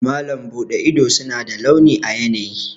Malam Bude ido suna da launi a yanayi.